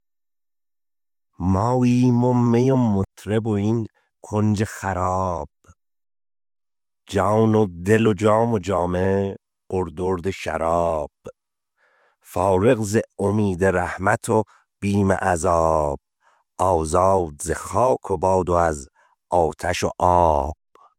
ماییم و می و مطرب و این کنج خراب جان و دل و جام و جامه پر درد شراب فارغ ز امید رحمت و بیم عذاب آزاد ز خاک و باد و از آتش و آب